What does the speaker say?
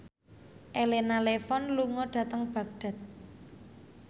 Elena Levon lunga dhateng Baghdad